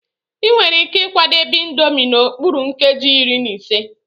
Enwere ike ịkwadebe Indomie n'okpuru nkeji iri na ise.